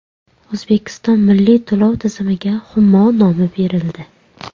O‘zbekistonda milliy to‘lov tizimiga Humo nomi berildi.